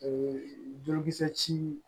Ee jokisɛ